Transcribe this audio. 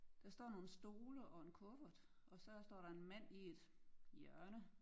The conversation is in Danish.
Der står nogle stole og en kuffert og så står der en mand i et hjørne